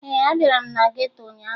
Ee, abịara m na geto ụnyaahụ